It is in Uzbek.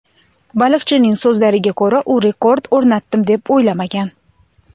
Baliqchining so‘zlariga ko‘ra, u rekord o‘rnatdim, deb o‘ylamagan.